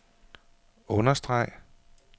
understreg